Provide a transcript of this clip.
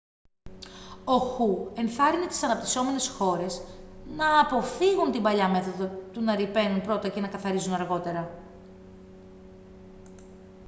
ο χου ενθάρρυνε τις αναπυσσόμενες χώρες «να αποφύγουν την παλιά μέθοδο του να ρυπαίνουν πρώτα και να καθαρίζουν αργότερα.»